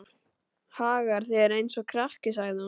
Hagar þér eins og krakki, sagði hún.